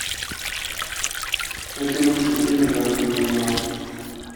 найти лучшие фильмы в жанре криминал